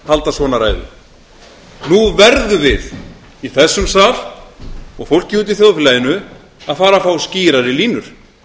halda svona ræðu nú verðum við í þessum sal og fólkið úti í þjóðfélaginu að fara að fá skýrari línur